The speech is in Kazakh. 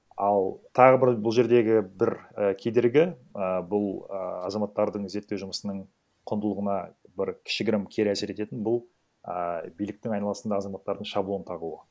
ал тағы бір бұл жердегі бір і кедергі і бұл а азаматтардың зерттеу жұмысының құндылығына бір кішігірім кері әсер ететін бұл ііі биліктің айналасында азаматтардың шаблон тағуы